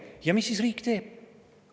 Ja mis siis riik teeb?